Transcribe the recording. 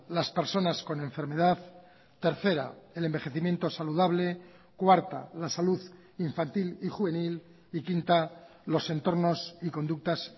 las personas con enfermedad tercera el envejecimiento saludable cuarta la salud infantil y juvenil y quinta los entornos y conductas